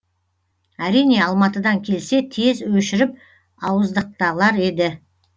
әрине алматыдан келсе тез өшіріп ауыздықталар еді